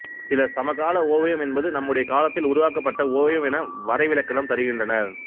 சிலர் சமகால ஓவியம் என்பது நம்முடைய காலத்தில் உருவாக்கப்பட்ட ஓவியம் என வரைவிலக்கணம் தருகின்றனர்